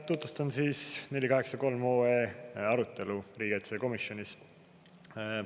Tutvustan 483 OE arutelu riigikaitsekomisjonis.